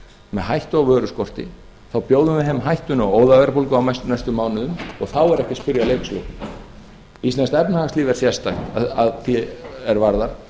með hættu á vöruskorti þá bjóðum við heim hættunni á óðaverðbólgu á næstu mánuðum og þá er ekki að spyrja að leikslokum íslenska efnahagslíf er sérstakt að því er varðar